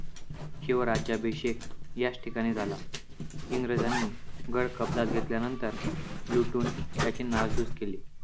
शिवराज्याभिषेक याच ठिकाणी झाला. इंग्रजांनी गड कब्ज्यात घेतल्यानंतर लुटून याची नासधूस केली.